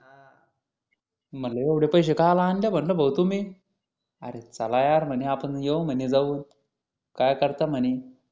म्हटलं एवढे पैसे कशाला आणले म्हटलं भाऊ तुम्ही अरे चला यार म्हणे आपण येऊ म्हणे जाऊ काय करता म्हणे